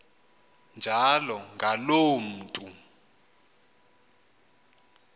njalo ngaloo mntu